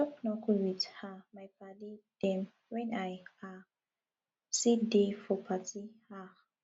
i dey chop knuckle with um my paddy dem wen i um see dey for party um